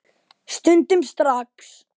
Stundum strax.